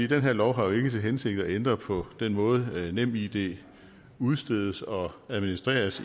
den her lov har jo ikke til hensigt at ændre på den måde nemid udstedes og administreres